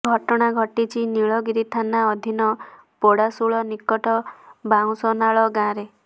ଘଟଣା ଘଟିଛି ନୀଳଗିରି ଥାନା ଅଧିନ ପୋଡ଼ାଶୂଳ ନିକଟ ବାଉଁସନାଳ ଗାଁରେ